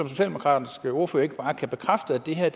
socialdemokratiske ordfører ikke bare bekræfte at det her